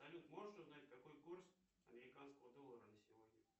салют можешь узнать какой курс американского доллара на сегодня